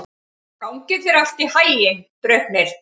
Gangi þér allt í haginn, Draupnir.